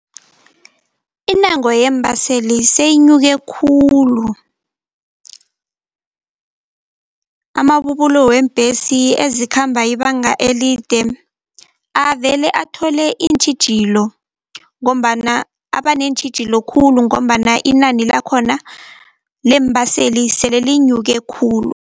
Intengo yeembaseli seyinyuke khulu. Amabubulo weembhesi ezikhamba ibanga elide, avele athole iintjhijilo ngombana abaneentjhijilo khulu ngombana inani lakhona leembaseli sele linyuke khulu.